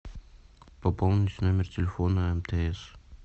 пополнить номер телефона мтс